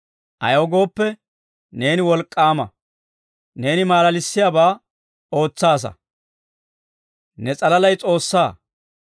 Ayaw gooppe, neeni wolk'k'aama; neeni malalissiyaabaa ootsaasa. Ne s'alalay S'oossaa.